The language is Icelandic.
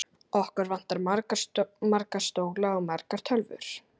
Okkur vantar marga stóla og margar tölvur.